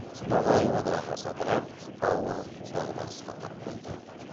ноғай одағы ыдырап ауыр дағдарысқа тап болды